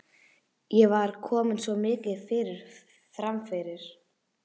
Ég var komin svo mikið framyfir.